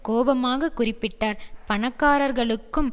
கோபமாக குறிப்பிட்டார் பணக்காரர்களுக்கும்